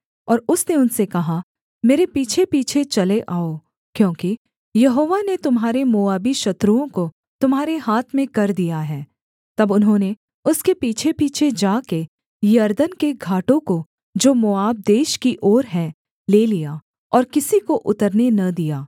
और उसने उनसे कहा मेरे पीछेपीछे चले आओ क्योंकि यहोवा ने तुम्हारे मोआबी शत्रुओं को तुम्हारे हाथ में कर दिया है तब उन्होंने उसके पीछेपीछे जा के यरदन के घाटों को जो मोआब देश की ओर हैं ले लिया और किसी को उतरने न दिया